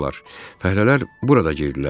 Fəhlələr burada girdilər.